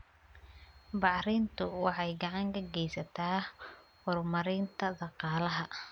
Bacrintu waxay gacan ka geysataa horumarinta dhaqaalaha.